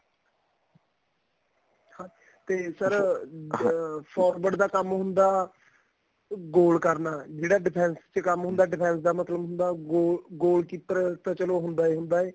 ਹਾਂ ਤੇ sir ਅਹ forward ਦਾ ਕੰਮ ਹੁੰਦਾ goal ਕਰਨਾ ਜਿਹੜਾ defense ਚ ਕੰਮ ਹੁੰਦਾ defense ਦਾ ਕੰਮ ਹੁੰਦਾ goal goal keeper ਤਾਂ ਚਲੋ ਹੁੰਦਾ ਈ ਹੁੰਦਾ